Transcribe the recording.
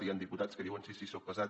hi han diputats que diuen sí sí soc pesat